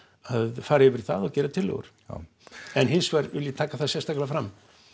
fara yfir það og gera tillögur já en hins vegar vil ég taka það sérstaklega fram